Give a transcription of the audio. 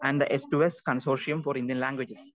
Speaker 2 and the S to S consortium for Indian languages.